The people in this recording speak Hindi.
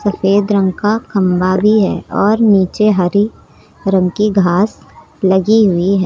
सफेद रंग का खंबा भी है और नीचे हरि रंग की घास लगी हुई है।